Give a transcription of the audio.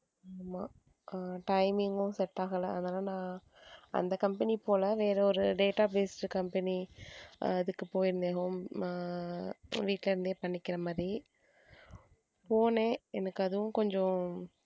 அஹ் timing உ set ஆகல அதனால அந்த company போல வேற ஒரு database company அதுக்கு போயிருந்தேன் home அஹ் வீட்ல இருந்தே பண்ணிக்கிற மாதிரி, போனேன் எனக்கு அதுவும் கொஞ்சம்,